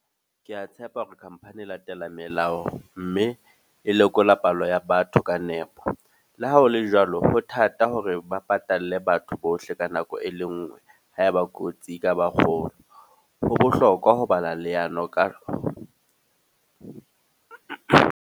Ke a tshepa hore company e latela melao. Mme e lekola palo ya batho ka nepo. Le ha hole jwalo, ho thata hore ba patalle batho bohle ka nako e le nngwe. Ha eba kotsi e ka ba kgolo. Jo bohlokwa ho bala leano kalo .